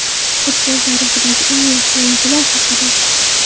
Futbol tarixidagi eng yaxshi o‘yinchilar haqida.